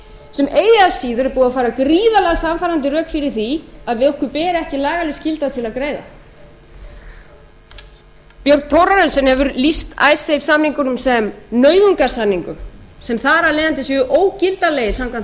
sem eigi að síður er búið að færa gríðarlega sannfærandi rök fyrir því að okkur ber ekki lagaleg skylda til að greiða björn thorarensen hefur lýst icesave samningunum sem nauðungarsamningum sem þar af leiðandi séu ógildanlegir samkvæmt